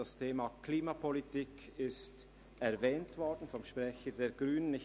Das Thema Klimapolitik ist vom Sprecher der Grünen erwähnt worden.